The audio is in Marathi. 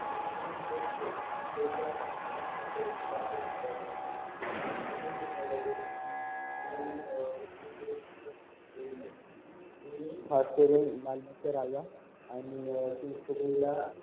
मी खासकरून लालबागचा राजा आणि चिंचपोकळीला